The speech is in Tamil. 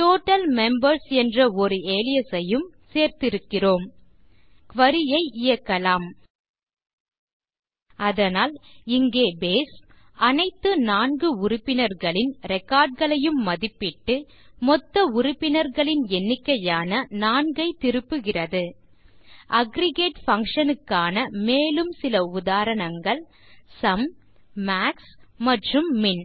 டோட்டல் மெம்பர்ஸ் என்ற ஒரு அலியாஸ் ஐயும் சேர்த்திருக்கிறோம் குரி ஐ இயக்கலாம் அதனால் இங்கே பேஸ் அனைத்து 4 உறுப்பினர்களின் ரெக்கார்ட் களையும் மதிப்பிட்டு மொத்த உறுப்பினர்களின் எண்ணிக்கையான 4 ஐத் திருப்பியது அக்ரிகேட் functionsக்கான மேலும் சில உதாரணங்கள் சும் மாக்ஸ் மற்றும் மின்